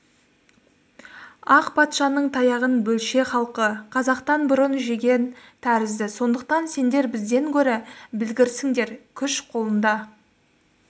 ақ патшаның таяғын бөлше халқы қазақтан бұрын жеген тәрізді сондықтан сендер бізден гөрі білгірсіңдер күш қолында